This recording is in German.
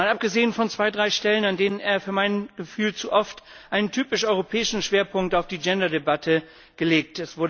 Mal abgesehen von zwei bis drei Stellen, an denen er für mein Gefühl zu oft einen typisch europäischen Schwerpunkt auf die Gender Debatte legt.